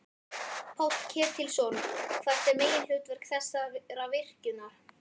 Páll Ketilsson: Hvert er meginhlutverk þessara virkjunar?